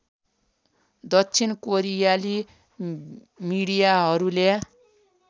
दक्षिण कोरियाली मिडियाहरूले